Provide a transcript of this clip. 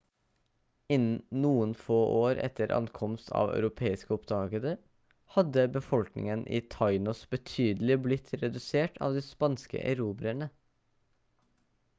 innen noen få år etter ankomst av europeiske oppdagere hadde befolkningen i tainos betydelig blitt redusert av de spanske erobrerne